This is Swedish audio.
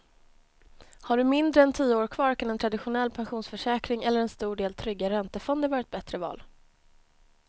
Har du mindre än tio år kvar kan en traditionell pensionsförsäkring eller en stor del trygga räntefonder vara ett bättre val.